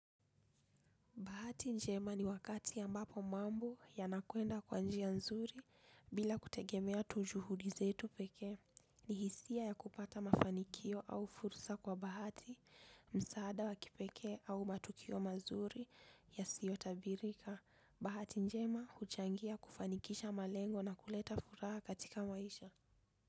Bahati njema ni wakati ambapo mambo ya nakuenda kwa njia nzuri bila kutegemea tu juhudi zetu peke ni hisia ya kupata mafanikio au fursa kwa bahati msaada wakipeke au matukio mazuri yasio tabirika. Bahati njema huchangia kufanikisha malengo na kuleta furaha katika maisha.